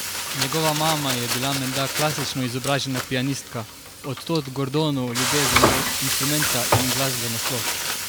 Njegova mama je bila menda klasično izobražena pianistka, od tod Gordonu ljubezen do inštrumenta in glasbe nasploh.